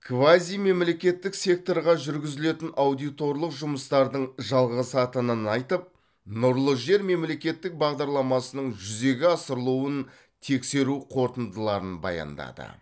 квазимемлекеттік секторға жүргізілетін аудиторлық жұмыстардың жалғасатынын айтып нұрлы жер мемлекеттік бағдарламасының жүзеге асырылуын тексеру қорытындыларын баяндады